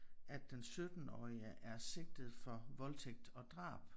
At den 17-årige er sigtet for voldtægt og drab